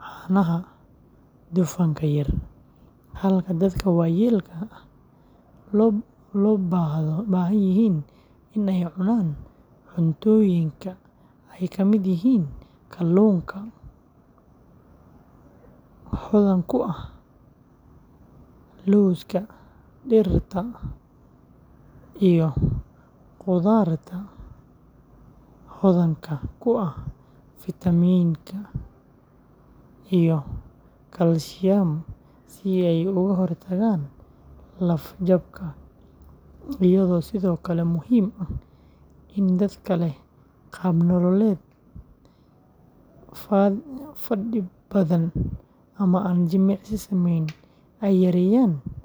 caanaha dufanka yar, halka dadka waayeelka ah loo baahdo in ay cunaan cuntooyinka ay ka mid yihiin kaluunka hodanka ku ah, lowska, digirta, iyo qudaarta hodanka ku ah fiitamiin iyo kalsiyam si ay uga hortagaan laf-jabka, iyadoo sidoo kale muhiim ah in dadka leh qaab nololeed fadhi badan ama aan jimicsi sameyn ay yareeyaan kalooriyada waxay cunayaan.